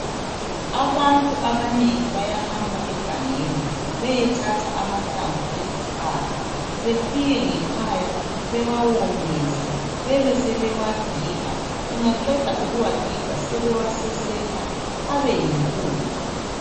Abantu abanengi bayahamba egangeni beyethatha amahlamvu ezihlahla befike ngekhaya bewawomise bebesebewagiga. Bengaqeda ukuwagiga sebewasesetha abeyimpuphu.